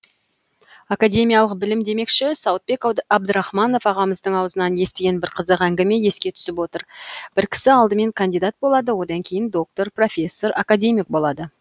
академиялық білім демекші сауытбек абдрахманов ағамыздың аузынан естіген бір қызық әңгіме еске түсіп отыр бір кісі алдымен кандидат болады одан кейін доктор профессор академик болады